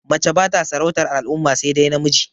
Mace bata sarautar al'umma sai dai namiji